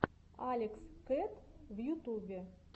алекс кэт в ютубе